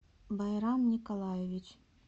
байрам николаевич